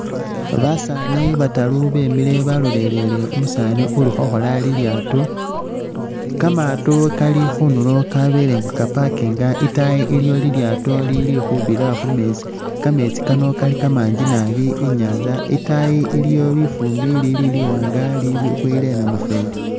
Basaani bataru bemile balolelele umusaani uli khokhola lilyaato, kamaato kali khunulo kabele nga kapakinga, itaayi iliyo lilyaato lili khubira khu meetsi. Kameetsi kano kali kamangi nabi i'nyaanza, itaayi iliyo lifuumbi ilili liwaanga liboyile namufweli.